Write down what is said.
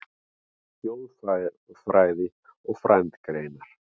Þjóðfræði og frændgreinar